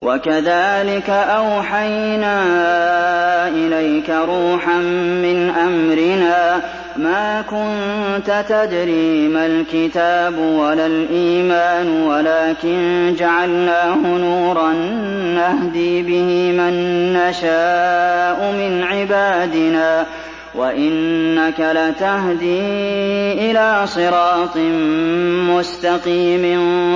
وَكَذَٰلِكَ أَوْحَيْنَا إِلَيْكَ رُوحًا مِّنْ أَمْرِنَا ۚ مَا كُنتَ تَدْرِي مَا الْكِتَابُ وَلَا الْإِيمَانُ وَلَٰكِن جَعَلْنَاهُ نُورًا نَّهْدِي بِهِ مَن نَّشَاءُ مِنْ عِبَادِنَا ۚ وَإِنَّكَ لَتَهْدِي إِلَىٰ صِرَاطٍ مُّسْتَقِيمٍ